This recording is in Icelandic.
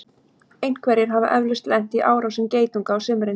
einhverjir hafa eflaust lent í árásum geitunga á sumrin